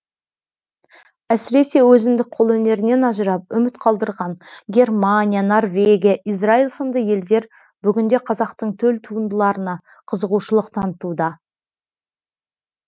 әсіресе өзіндік қолөнерінен ажырап үміт қалдырған германия норвегия израил сынды елдер бүгінде қазақтың төл туындыларына қызығушылық танытуда